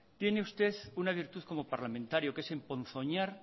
tiene usted una virtud como parlamentario que es emponzoñar